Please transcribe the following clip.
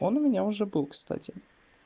он у меня уже был кстати